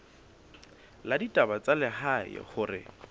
la ditaba tsa lehae hore